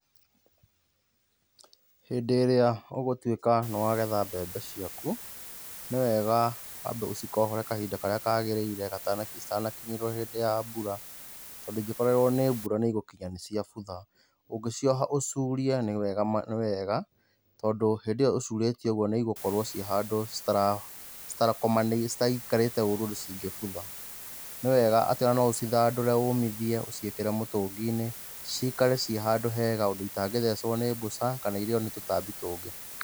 Hĩndĩ ĩrĩa ũgũtuĩka nĩ wagetha mbembe ciaku, nĩ wega, wambe ũcikohore kahinda karĩa kagĩrĩire gatana, citanakinyĩrĩrũo nĩhĩndĩ ya mbura. Tondũ ingĩkorererwo nĩ mbura nĩ igũkinya nĩ ciabutha. Ũngĩcioha ũcurie nĩ wega, tondũ hĩndĩyo ũcurĩtie ũguo nĩ igũkorũo ciĩ handũ citakomanĩire, citaikarĩte ũrũ ũndũ cingĩbutha. Nĩ wega atĩ no ũcithandũre ũmithie ũciĩkĩre mũtũnginĩ, cikare ciĩ handũ hega ũndũ itangĩthecũo nĩ mbũca, kana irĩo nĩ tũtambi tũngĩ.